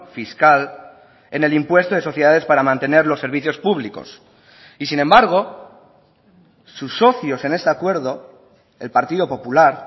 fiscal en el impuesto de sociedades para mantener los servicios públicos y sin embargo sus socios en este acuerdo el partido popular